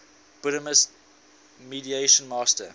buddhist meditation master